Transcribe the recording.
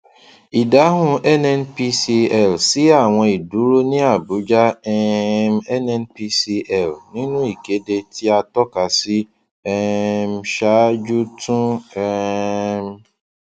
ìdáhùn nnpcl sí àwọn ìdúró ní abuja um nnpcl nínú ìkéde tí a tọka sí um ṣáájú tún um